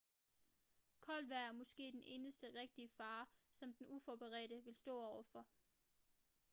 koldt vejr er måske den eneste rigtige fare som den uforberedte vil stå over for